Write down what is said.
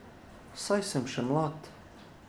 Saj sem še mlad.